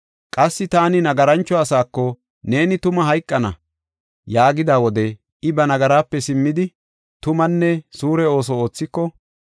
Qassi taani nagarancho asako, ‘Neeni tuma hayqana’ yaagida wode I ba nagaraape simmidi, tumanne suure ooso oothiko,